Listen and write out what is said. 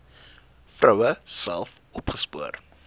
vroue self opgespoor